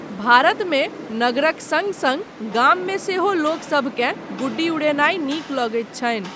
भारतमे नगरक सङ्ग सङ्ग गाममे सेहो लोकसभकेँ गुड्डी उड़ेनाय नीक लगैत छनि।